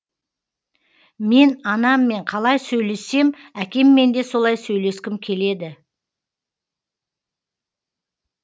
мен анаммен қалай сөйлессем әкеммен де солай сөйлескім келеді